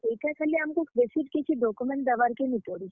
ଇଟା ଖାଲି ଆମକୁ ବେଶୀ କିଛି document ଦେବାର୍ କେ ନି ପଡେ।